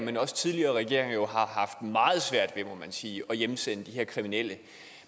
men også tidligere regeringer har haft meget svært ved må man sige at hjemsende de her kriminelle